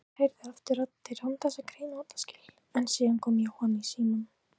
Birkir heyrði aftur raddir án þess að greina orðaskil en síðan kom Jóhann í símann.